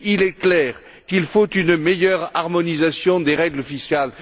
Il est clair qu'il faut une meilleure harmonisation des règles fiscales.